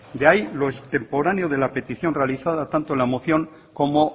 de ahí lo extemporáneo de la petición realizada tanto en la moción como